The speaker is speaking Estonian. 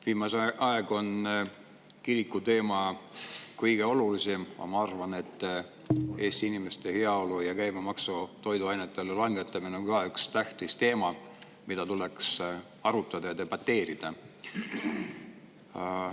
Viimasel ajal on kirikuteema olnud kõige olulisem, aga ma arvan, et Eesti inimeste heaolu ja toiduainete käibemaksu langetamine on ka üks tähtis teema, mida tuleks arutada ja debateerida.